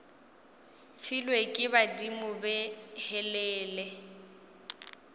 filwe ke badimo be helele